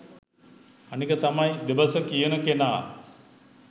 අනික තමයි දෙබස කියන කෙනා